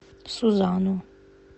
сузану